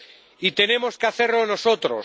Y tenemos que hacerlo nosotros.